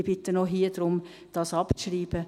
Ich bitte auch hier darum, dies abzuschreiben.